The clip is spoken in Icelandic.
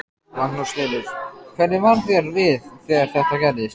Magnús Hlynur: Hvernig varð þér við þegar þetta gerðist?